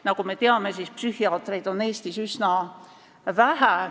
Nagu me teame, psühhiaatreid on Eestis üsna vähe.